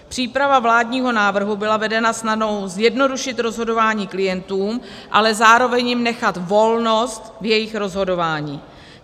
Příprava vládního návrhu byla vedena snahou zjednodušit rozhodování klientům, ale zároveň jim nechat volnost v jejich rozhodování.